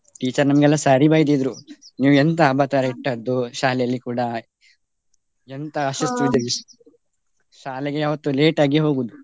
Teacher ನಮ್ಗೆಲ್ಲಾ ಸರಿ ಬೈದಿದ್ರು. ನೀವು ಎಂತ ಅಬತಾರ ಇಟ್ಟದ್ದು ಶಾಲೆಯಲ್ಲಿ ಕೂಡ ಎಂಥ . ಶಾಲೆಗೆ ಯಾವತ್ತು late ಆಗಿ ಹೋಗುದು.